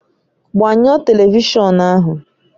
Gbanyụọ Televishọn ahụ!